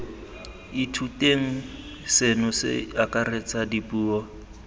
ithuteng seno se akaretsa dipuo